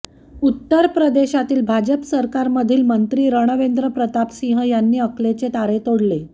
उत्तर प्रदेशातील भाजप सरकारमधील मंत्री रणवेंद्र प्रतापसिंह यांनी अकलेचे तारे तोडले